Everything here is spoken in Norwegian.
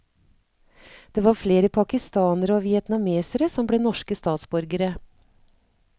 Det var flest pakistanere og vietnamesere som ble norske statsborgere.